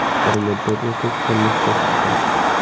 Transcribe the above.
Bir muddat o‘tib turmushga chiqdim.